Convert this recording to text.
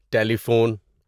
ٹیلی phone